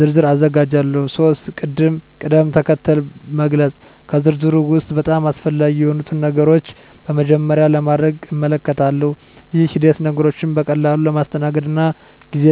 ዝርዝር አዘጋጃለሁ። 3. ቅድም-ተከተል መግለጽ ከዝርዝሩ ውስጥ በጣም አስፈላጊ የሆኑትን ነገሮች በመጀመሪያ ለማድረግ እመልከታለሁ። ይህ ሂደት ነገሮችን በቀላሉ ለማስተናገድ እና ጊዜ